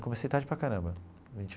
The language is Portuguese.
Eu comecei tarde para caramba.